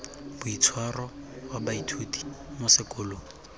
boitshwaro wa baithuti mo sekolong